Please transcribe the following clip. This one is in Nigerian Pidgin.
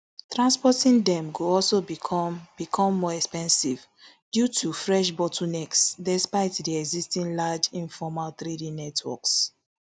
transporting dem go also become become more expensive due to fresh bottlenecks despite di existing large informal trading networks